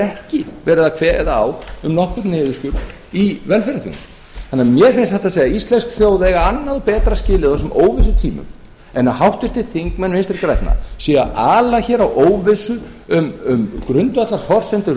ekki verið að kveða á um nokkurn niðurskurð í velferðarþjónustunni þannig að mér finnst satt að segja íslensk þjóð eiga annan og betra skilið á þessum óvissutímum en að háttvirtir þingmenn vinstri grænna séu að ala hér á óvissu um grundvallarforsendur